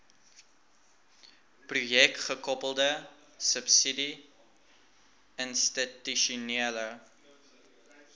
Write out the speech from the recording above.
projekgekoppelde subsidie institusionele